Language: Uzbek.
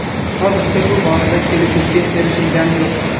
Hozircha bu borada kelishuvga erishilgani yo‘q.